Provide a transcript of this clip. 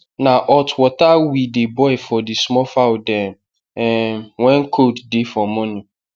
na hot water we dey boil for the small fowl dem um when cold dey for morning